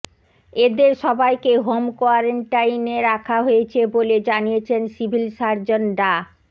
এদের সবাইকে হোম কোয়ারেন্টাইনে রাখা হয়েছে বলে জানিয়েছেন সিভিল সার্জন ডা